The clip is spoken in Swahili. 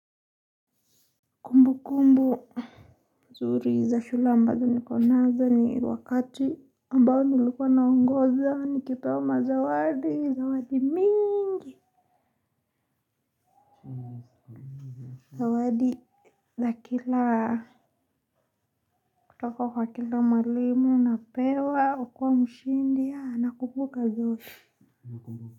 Kumbukumbu nzuri za shule ambazo niko nazo ni wakati ambao nilikuwa naongoza nikipewa mazawadi zawadi mingi za kila kutoka kwa kila mwalimu napewa ukua mshindi ya nakumbuka zote.